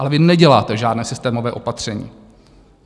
Ale vy neděláte žádné systémové opatření.